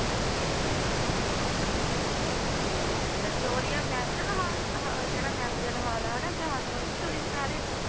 ਠੀਕ ਹੈ Victoria memorial ਹਾ~ ਉਹ ਜਿਹੜਾ memorial ਹਾਲ ਆ ਹਨਾ ਕਹਾਣੀ ਉਹਦੀ story ਸੁਣਾ ਰਹੇ ਹੋ?